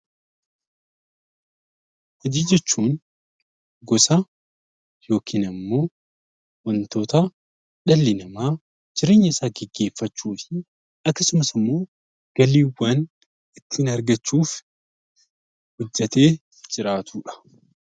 Hojii jechuun gosa yookiin wantoota dhalli namaa jireenya isaa gaggeeffachuuf akkasumas galiiwwan ittiin argachuuf hojjattee jiraatudha.